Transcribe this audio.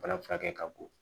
Bana furakɛ ka bon